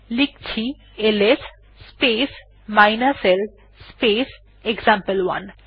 লিখছি LS space l space example one